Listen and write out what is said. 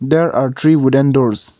there are three wooden doors.